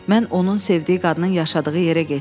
Mən onun sevdiyi qadının yaşadığı yerə getdim.